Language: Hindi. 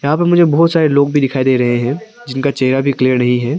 यहां पे मुझे बहुत सारे लोग भी दिखाई दे रहे हैं जिनका चेहरा भी क्लियर नहीं है।